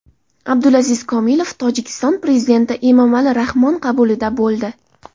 Abdulaziz Komilov Tojikiston prezidenti Emomali Rahmon qabulida bo‘ldi.